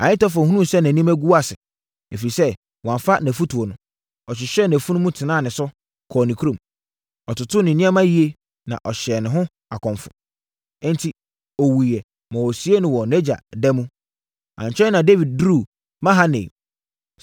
Ahitofel hunuu sɛ nʼanim agu ase, ɛfiri sɛ wɔamfa nʼafotuo no, ɔhyehyɛɛ nʼafunumu tenaa ne so, kɔɔ ne kurom. Ɔtotoo ne nneɛma yie, na ɔhyɛɛ ne ho akɔmfo. Enti, ɔwuiɛ ma wɔsiee no wɔ nʼagya da mu.